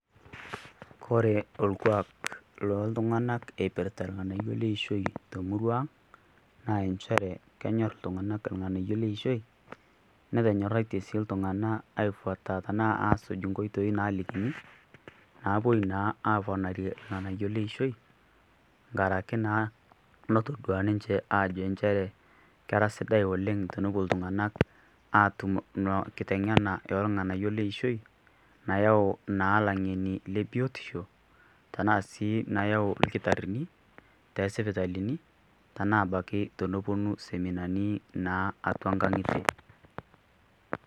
kore olkuak loltung'ana eipirrta ilng'anayio leishoi temuru ang naa inchere kenyorr iltung'anak irng'anayio leishoi netonyorraitie sii iltung'ana aifuata tenaa asuj nkoitoi nalikini naapuoi naa aponarie ilng'anayio leishoi nkaraki naa notodua ninche ajo nchere kera sidai woleng tonopuo iltung'anak atum ina kiteng'ena eolng'anayio leishoi nayau naa ilang'eni le biotisho tenaa sii nayau ilkitarrini tesipitalini tena abaki tonoponu seminani naa atua nkang'itie.